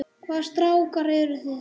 Hvaða strákar eru það?